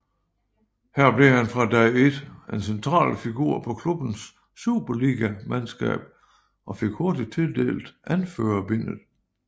Her blev han fra dag ét en central figur på klubbens superligamandskab og fik hurtigt tildelt anførerbindet